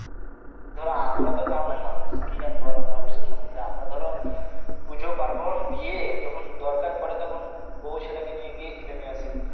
ধর আমরা তো গ্রামএর মানুষ, কি জানব আর ওই সব সম্মন্ধে আমরা ধর, পুজো পার্বন, বিয়ে যখন দরকার পরে তখন বউ ছেলে কে নিয়ে গিয়ে কিনে নিয়ে আসি